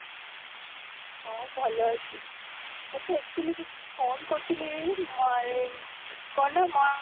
ହଁ, ଭଲ ଅଛି, ଆଚ୍ଛା actually ତ phone କରିଥିଲି ମୋର ଏ କ'ଣ ନା ମା